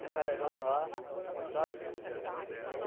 Jacarezão lá, sabe?